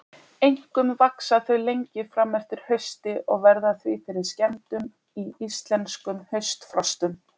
Einkum vaxa þau lengi fram eftir hausti og verða því fyrir skemmdum í íslenskum haustfrostum.